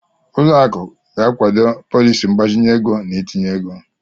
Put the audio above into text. Ụlọ akụ ga-akwado pọliisi mgbazinye ego na itinye ego.